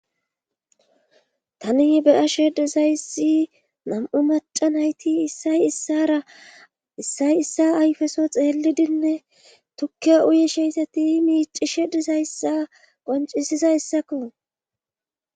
Tani beyashe dizayssi mam7u macan hayti issay issara issay issa ayfeso xeellidinne tukke uyesheyssati miicishe dizayssa qoncisiza yssakko